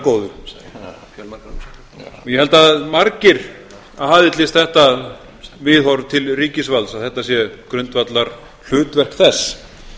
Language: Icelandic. að vera góður og ég held að margir aðhyllist þetta viðhorf til ríkisvalds að þetta sé grundvallar hlutverk þess